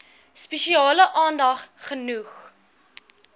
spesiale aandag genoeg